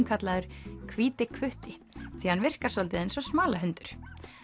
kallaður hvíti hvutti því að hann virkar svolítið eins og smalahundur